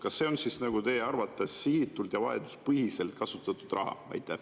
Kas see on teie arvates sihitult ja vajaduspõhiselt kasutatud raha?